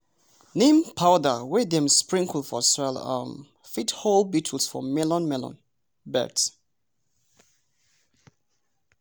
neem powder wey dem sprinkle for soil um fit hold beetles for melon melon beds.